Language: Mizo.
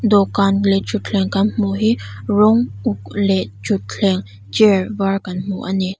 dawhkan leh thutthleng kan hmuh hi rawng uk leh thuthleng chair var kan hmu a ni.